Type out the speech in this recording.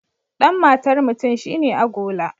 Dan matar mutum shi ne agola.